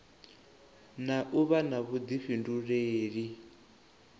na u vha na vhuḓifhinduleli